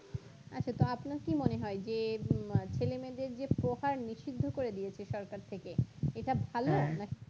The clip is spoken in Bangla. আচ্ছা তো আপনার কি মনে হয় যে হুম আ ছেলে-মেয়েদের যে প্রকার নিষিদ্ধ করে দিয়েছে সরকার থেকে এটা ভালো নাকি